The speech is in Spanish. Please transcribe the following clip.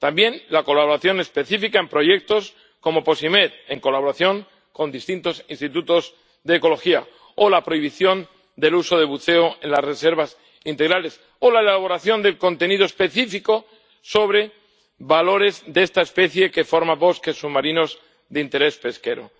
También la colaboración específica en proyectos como Posimed, en colaboración con distintos institutos de ecología, o la prohibición del buceo en las reservas integrales, o la elaboración de contenido específico sobre valores de esta especie que forma bosques submarinos de interés pesquero.